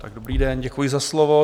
Dobrý den, děkuji za slovo.